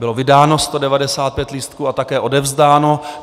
Bylo vydáno 195 lístků a také odevzdáno.